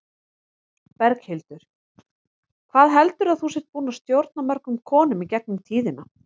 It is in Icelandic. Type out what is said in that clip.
Berghildur: Hvað heldurðu að þú sért búin að stjórna mörgum konum í gegnum tíðina?